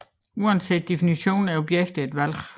Uanset definitionen er projekter et valg